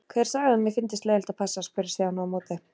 Hver sagði að mér fyndist leiðinlegt að passa? spurði Stjáni á móti.